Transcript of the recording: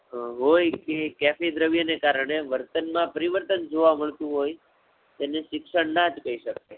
હોય કે કેવી દ્રવ્યો ને કારણે વર્તન માં પરિવર્તન જોવા મળતું હોય, તેને શિક્ષણ ના જ કહી શકીએ.